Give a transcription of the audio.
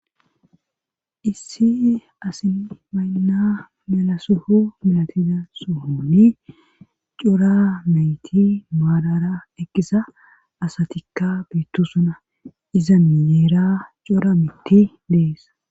issi asi maynna mela soho milatida sohoni cora nayti maadara eqqisa asatikka berosona iza miyeera cora mitti dees